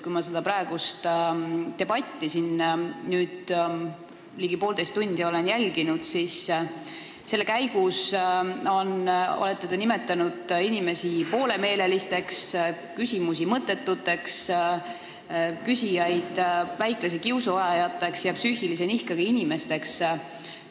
Kui ma seda debatti ligi poolteist tundi olen jälginud, siis olen kuulnud, et selle käigus olete te nimetanud inimesi poolemeelelisteks, küsimusi mõttetuteks, küsijaid väiklase kiusu ajajateks ja psüühilise nihkega inimesteks.